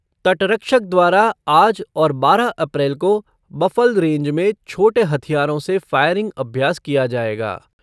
तटरक्षक द्वारा आज और बारह अप्रैल को बफल रेंज में छोटे हथियारों से फायरिंग अभ्यास किया जाएगा।